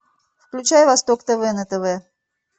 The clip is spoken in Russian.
включай восток тв на тв